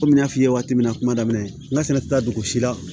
Kɔmi n y'a f'i ye waati min na kuma daminɛ n ka sɛnɛ tɛ taa dugu si la